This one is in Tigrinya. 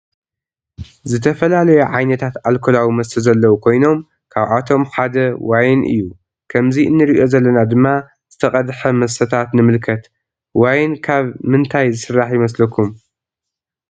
ዝተፈላለዩ ዓይነታት አልኮላዊ መስተ ዘለዉ ኮይኖም ካብአቶም ሓደ ዋይን እዩ። ከምዚ እንሪኦ ዘለና ድማ ዝተቀድሐ መስተታት ንምልከት ዋይን ካብ ምንታይ ዝስራሕ ይምስለኩም?